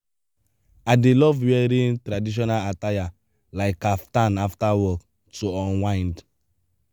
i dey love wearing traditional attire like kaftan after work to unwind.